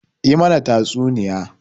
Yi mana tatsuniya!